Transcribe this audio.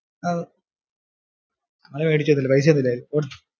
ഓ ഞങ്ങള് മേടിച്ചും ഒന്നും ഇല്ല പൈസ ഒന്നും ഇല്ലാരുന്നു.